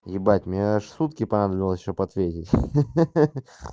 ебать меня аж сутки понадобилось чтоб ответить ха-ха